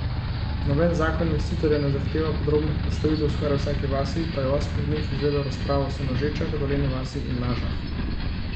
Noben zakon investitorja ne zahteva podrobnih predstavitev v skoraj vsaki vasi, pa je v osmih dneh izvedel razpravo v Senožečah, Dolenji vasi in Lažah.